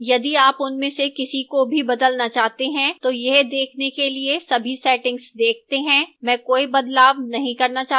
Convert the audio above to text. यदि आप उनमें से किसी को भी बदलना चाहते हैं तो यह देखने के लिए सभी settings देखते हैं मैं कोई बदलाव नहीं करना चाहती हूं